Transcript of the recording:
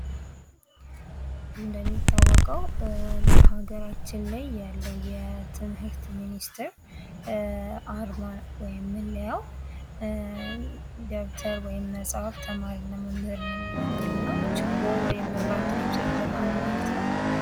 እንደሚታወቀው በሀገራችን ላይ ያለው የትምህርት ሚኒስተር አርማ ወይም መለያው ደብተር ወይም መጽሐፍ ተማሪና መምህርን የሚወክል ነው ችቦ ወይም ብርሃን የሚሰጥ ብርሃን ነው ማለት ነው